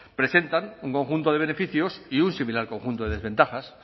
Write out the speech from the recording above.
presentan un conjunto de beneficios y un similar al conjunto de desventajas